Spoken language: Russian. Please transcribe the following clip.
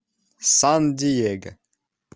сан диего